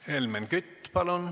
Helmen Kütt, palun!